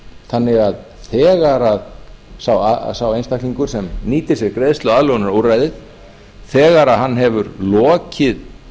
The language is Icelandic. þannig að þegar sá einstaklingur sem nýtir sér greiðsluaðlögunarúrræðið þegar hann hefur lokið